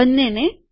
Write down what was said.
બંનેને